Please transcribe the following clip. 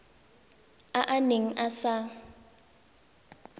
a a neng a sa